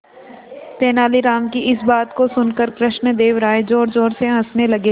तेनालीराम की इस बात को सुनकर कृष्णदेव राय जोरजोर से हंसने लगे